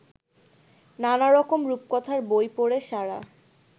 নানারকম রূপকথার বই পড়ে সারা